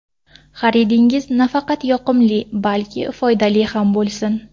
Xaridingiz nafaqat yoqimli, balki foydali ham bo‘lsin!